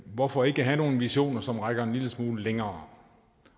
hvorfor ikke have nogle visioner som rækker en lille smule længere